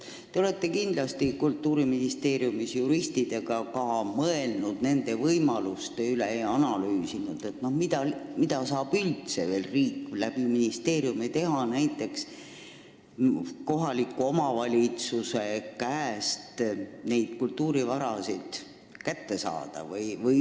Te olete kindlasti Kultuuriministeeriumis juristidega ka mõelnud nende võimaluste üle ja analüüsinud, mida saab üldse riik ministeeriumi kaudu veel teha, näiteks kohaliku omavalitsuse käest neid kultuurivarasid üle võtta.